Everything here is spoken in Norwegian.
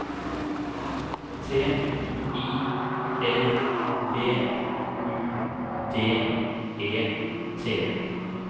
T I L B U D E T